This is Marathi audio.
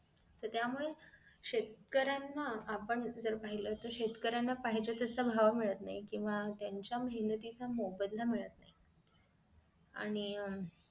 तर त्यामुळे शेतकऱ्यांना आपण जर पाहिलं तर शेतकऱ्यांना पाहिजे तस भाव मिळत नाही केंव्हा त्यांच्या मेहनतीचा मोबदला मिळत नाही आणि